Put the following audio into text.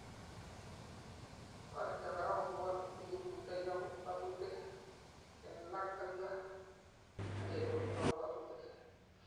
toreti korak kobor olekiburtoi ak kabwotutik, kengalal ak igo ak kelewen kabwotutik